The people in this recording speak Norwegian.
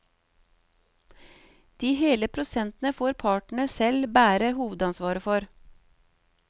De hele prosentene får partene selv bære hovedansvaret for.